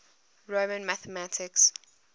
roman mathematics